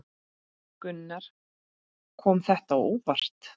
Gunnar: Kom þetta á óvart?